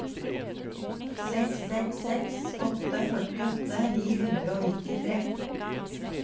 seks seks seks åtte førtiåtte ni hundre og nittitre